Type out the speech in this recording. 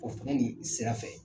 O fɛnɛ ni sira fɛ